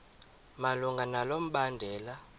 malunga nalo mbandela